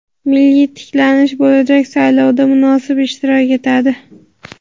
"Milliy tiklanish" bo‘lajak saylovda munosib ishtirok etadi.